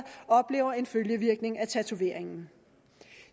oplever en følgevirkning af tatoveringen